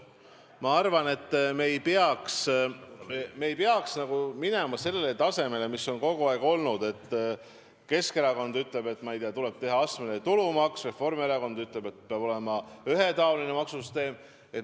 Ma arvan, et me ei peaks minema sellele tasemele, mis on kogu aeg olnud – Keskerakond ütleb, et tuleb teha astmeline tulumaks, Reformierakond ütleb, et peab olema ühetaoline maksusüsteem.